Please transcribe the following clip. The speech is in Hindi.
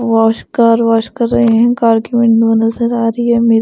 वाश कार वाश कर रहे हैं कार की विंडो नजर आ रही है।